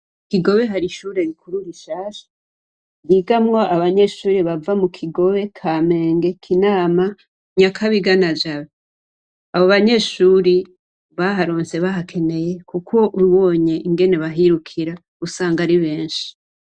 Mu kigobe hari ishure rikuru rishasha ryigamwo abanyeshure bava mu Kigobe, Kamenge, Kinama, Nyakabiga na Jabe. Abo banyeshure baharonse bahakeneye kuko ubonye ingene bahirukira usanga ari benshi.